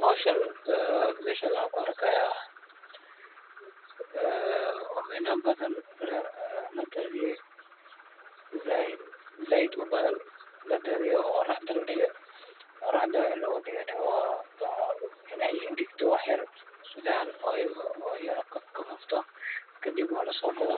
Howshan meeshan waxaan ku arkaaya omena badan oo sait ubadan oo qoraxda lagu daadiye, qoraxdana waxaa loogu daadiye in aay engegto wax yar si fican kadibna lasoo gado,